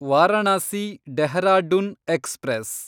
Varanasi Dehradun express